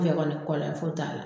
N fɛ kɔni foyi t'a la.